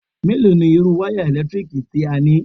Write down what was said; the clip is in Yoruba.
Mélòó ni irú wáyà eèlétíkì tí ó ní?